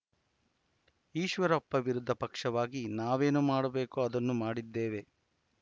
ಈಶ್ವರಪ್ಪ ವಿರೋಧ ಪಕ್ಷವಾಗಿ ನಾವೇನೂ ಮಾಡಬೇಕೋ ಅದನ್ನು ಮಾಡಿದ್ದೇವೆ